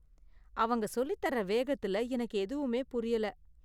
அவங்க சொல்லித் தர வேகத்துல, எனக்கு எதுவுமே புரியல.